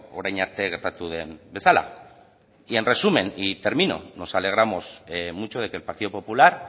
orain arte gertatu den bezala en resumen y termino nos alegramos mucho de que el partido popular